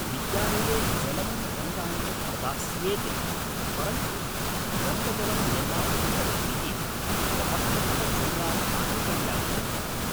विद्यालये जलं रङ्गाणि च प्रदास्येते परन्तु रङ्गजलं निर्मातुं भवद्भिः स्वपक्षतः चूर्णानि आनेतव्यानि भविष्यन्ति।